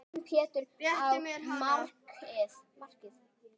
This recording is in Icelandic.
Réttu mér hana